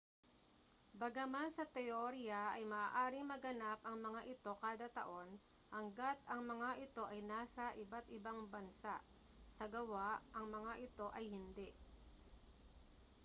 bagaman sa teorya ay maaaring maganap ang mga ito kada taon hangga't ang mga ito ay nasa iba't-ibang bansa sa gawa ang mga ito ay hindi